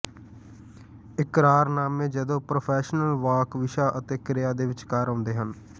ਇਕਰਾਰਨਾਮੇ ਜਦੋਂ ਪ੍ਰੋਫੈਸ਼ਨਲ ਵਾਕ ਵਿਸ਼ਾ ਅਤੇ ਕ੍ਰਿਆ ਦੇ ਵਿਚਕਾਰ ਆਉਂਦੇ ਹਨ